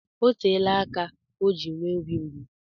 Oteela aka o ji nwee obi mgbu.